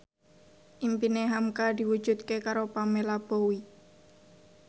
impine hamka diwujudke karo Pamela Bowie